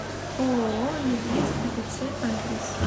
ооо медведь атц адрес